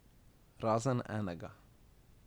Razen enega.